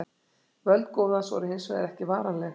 Völd goðans voru hins vegar ekki varanleg.